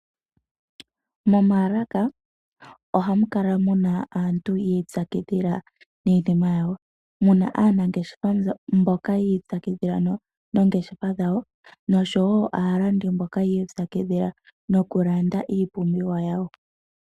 Momalaka ohamu kala muna aantu yi ipyakidhila niiyinima yawo. Muna aanangeshefa mboka yi ipyakidhila noongeshefa dhawo noshowo aalandi mboka yi ipyakidhila nokulanda iipumbiwa yawo.